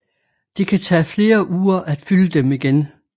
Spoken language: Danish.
Det kan tage flere uger at fylde dem igen